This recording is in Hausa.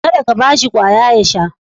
Kada ka ba shi kwaya ya sha